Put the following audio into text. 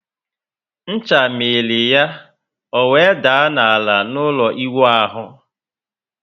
Ncha miri ya, o were daa ná ala n'ụlọ iwu ahu